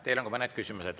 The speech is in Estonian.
Teile on ka mõned küsimused.